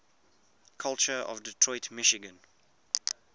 culture of detroit michigan